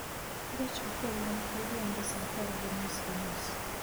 en gach okoloma odhiambo saa apar gi nus gi nus